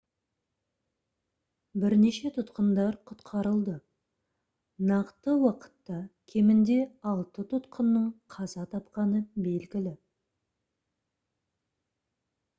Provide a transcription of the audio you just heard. бірнеше тұтқындар құтқарылды нақты уақытта кемінде алты тұтқынның қаза тапқаны белгілі